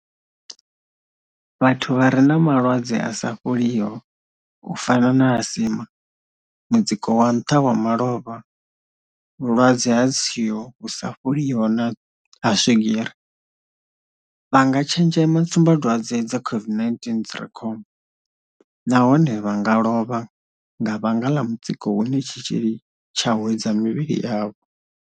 Vhathu vha re na malwadze a sa fholiho u fana na asima, mutsiko wa nṱha wa malofha vhulwadze ha tswio vhu sa fholiho na ha swigiri, vha nga tshenzhema tsumbadwadze dza COVID-19 dzi re khombo, nahone vha nga lovha nga vhanga ḽa mutsiko une tshitzhili tsha hwedza mivhili yavho.